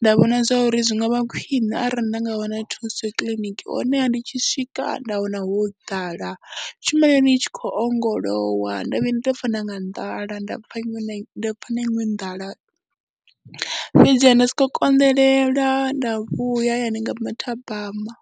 Nda vhona zwa uri zw nga vha khwine arali nda nga wana thuso kiḽiniki honeha ndi tshi swika nda wana ho ḓala, tshumelo ya hone i tshi khou ongolowa, nda vhuya nda pfha na nga nḓala, nda pfha iṅwe na iṅwe nḓala fhedziha nda sokou konḓelela nda vhuya hayani nga mathabama.